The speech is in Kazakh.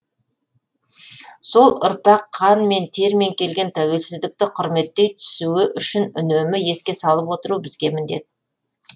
сол ұрпақ қанмен термен келген тәуелсіздікті құрметтей түсуі үшін үнемі еске салып отыру бізге міндет